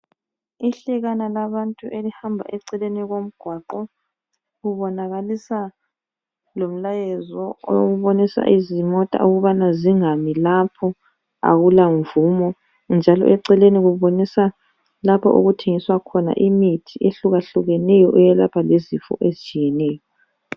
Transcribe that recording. Ihlekana labantu elihamba eceleni komgwaqo kubonakalisa lomlayezo obonisa izimota ukubana zingami lapho akulamvumo, njalo eceleni kubonisa lapha okuthengiswa khona imithi ehlukahlukeneyo eyelapha lezifo ezitshiyeneyo.